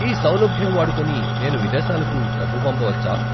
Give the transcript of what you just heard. ఈ సౌలభ్యం వాడుకొని నేను విదేశాలకు డబ్బు పంపవచ్చా?